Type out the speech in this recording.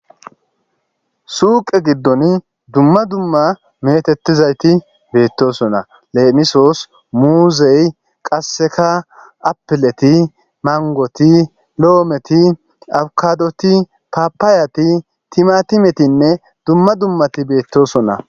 Suqe gidon dumma dumma metetizayt betosona.lemisos muzey qaseka apilet, mangot, lometi, abokadot, Papayati, timatimenne dumma dummat betosona.